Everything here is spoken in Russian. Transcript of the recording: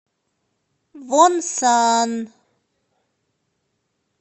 вонсан